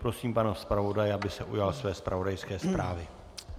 Prosím pana zpravodaje, aby se ujal své zpravodajské zprávy.